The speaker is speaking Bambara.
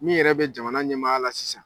Min yɛrɛ bɛ jamana ɲɛmaaya la sisan.